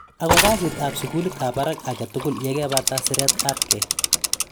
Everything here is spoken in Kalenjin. Ako kasit ab sukulit ab baraka ake tugul yekepata siret ab kei.